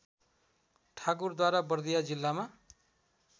ठाकुरद्वारा बर्दिया जिल्लामा